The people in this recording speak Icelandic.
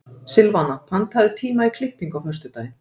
Silvana, pantaðu tíma í klippingu á föstudaginn.